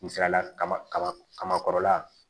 Misaliyala kaba kaba kaba kɔrɔla